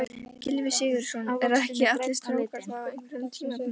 Gylfi Sigurðsson: Eru ekki allir strákar það á einhverjum tímapunkti?